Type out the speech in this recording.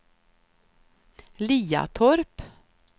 Liatorp